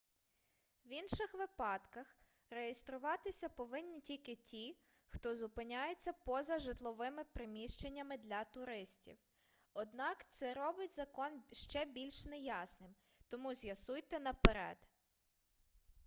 в інших випадках реєструватися повинні тільки ті хто зупиняється поза житловими приміщеннями для туристів однак це робить закон ще більш неясним тому з'ясуйте наперед